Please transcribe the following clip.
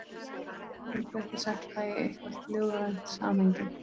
Ég get að minnsta kosti ekki sett það í eitthvert ljóðrænt samhengi.